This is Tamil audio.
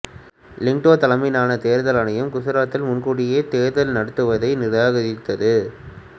லிங்டோ தலைமையிலான தேர்தல் ஆணையம் குசராத்தில் முன்கூட்டியே தேர்தல் நடுத்துவதைநிராகரித்தது